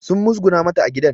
Sun muzguna mata a gidan